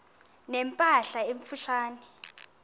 ne mpahla emfutshane